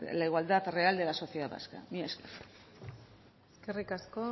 la igualdad real de la sociedad vasca mila esker eskerrik asko